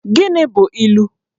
Gịnị bụ ilu?